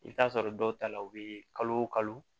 I bɛ t'a sɔrɔ dɔw ta la u bɛ kalo o kalo